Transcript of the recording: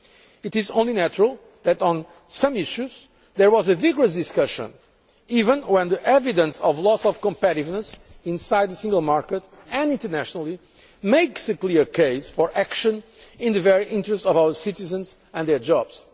It is only natural that on some issues there was a vigorous discussion even when the evidence of loss of competitiveness inside the single market and internationally makes a clear case for action in the interest of our citizens and their jobs.